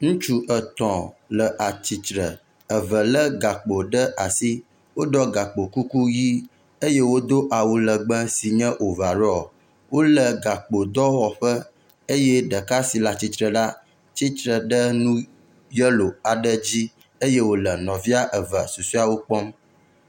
ŋutsu etɔ̃ le atsitre, eve le gakpò ɖe asi wóɖɔ gakpo kuku yi eye wodó awu legbe si nye ovarɔ wóle gakpo dɔwɔƒe eye ɖeka si atsitsre la tsitsre ɖe nu yelo aɖe dzi eye wòle nɔvia susieawo kpɔm